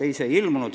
Ei, ei mõjutanud.